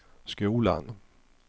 skolan